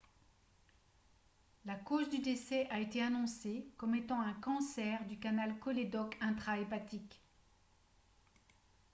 la cause du décès a été annoncée comme étant un cancer du canal cholédoque intrahépatique